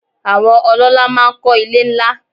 Àwọn ọlọ́lá máa ń kọ́ ilé ńlá.